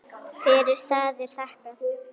Fyrir það er þakkað.